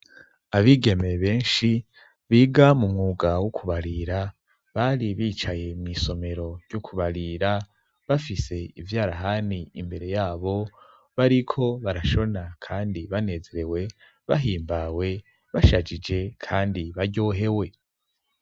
Abigeme benshi biga mu mwuga wo kubarira bari bicaye mw'isomero ryo kubarira bafise ivyarahani imbere yabo bariko barashona kandi banezerewe bahimbawe bashajije kandi baryohewe.